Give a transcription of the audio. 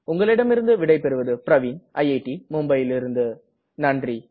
உங்களிடம் இருந்து விடை பெறுவது பிரவின் ஐஐடி மும்பையிலிருந்து நன்றி